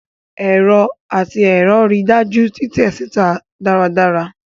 Ẹrọ ati ẹrọ rii daju titẹ sita daradara